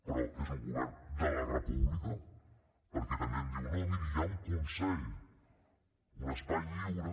però és un govern de la república perquè també em diu no miri hi ha un consell un espai lliure